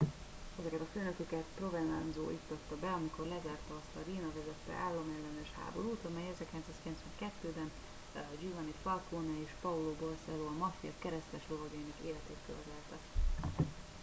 ezeket a főnököket provenanzo iktatta be amikor lezárta azt a riina vezette államellenes háborút amely 1992 ben giovanni falcone és paolo borsello a maffia kereszteslovagjainak életét követelte